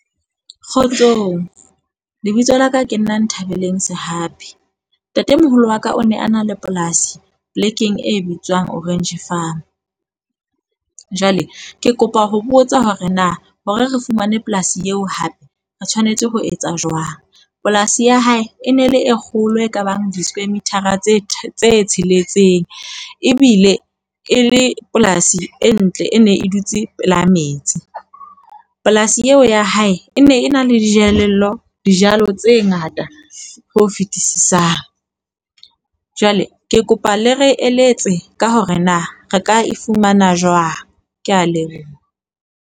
Kgotsong. Lebitso la ka ke nna Nthabeleng Sehapi. Ntatemoholo wa ka o ne a na le polasi polekeng e bitswang Orange Farm. Jwale ke kopa ho botsa hore na hore re fumane polasi eo hape re tshwanetse ho etsa jwang. Polasi ya hae e ne le e kgolo e kabang di submitter a tse tse tsheletseng. Ebile e le polasi e ntle, e ne e dutse pela metsi. Polasi eo ya hae e ne e na le dijelello dijalo tse ngata ho fetisisang. Jwale ke kopa le re eletse ka hore na re ka e fumana jwang. Ke a leboha.